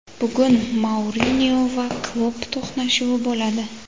Bugun Mourinyo va Klopp to‘qnashuvi bo‘ladi.